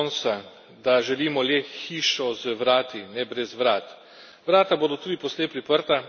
Všeč mi je prispodoba Gonzalesa Ponsa, da želimo le hišo z vrati, ne brez vrat.